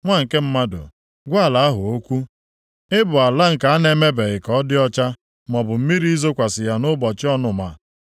“Nwa nke mmadụ, gwa ala ahụ okwu, ‘Ị bụ ala nke a na-emebeghị ka ọ dị ọcha, maọbụ mmiri izokwasị ya nʼụbọchị ọnụma.’